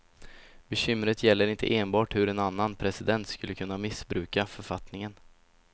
Bekymret gäller inte enbart hur en annan president skulle kunna missbruka författningen.